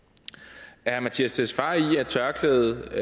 er herre mattias tesfaye enig i at tørklædet